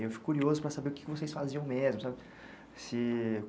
Eu fico curioso para saber o que que vocês faziam mesmo, sabe? Se...